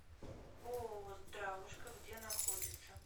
ооо здравушка где находится